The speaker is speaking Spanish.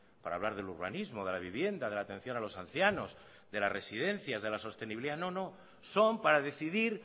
para hablar del urbanismo de la vivienda de la atención a los ancianos de las residencias de la sostenibilidad no no son para decidir